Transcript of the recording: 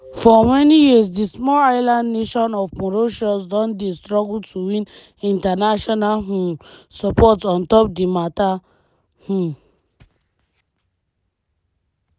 for many years di small island nation of mauritius don dey struggle to win international um support on top di matter. um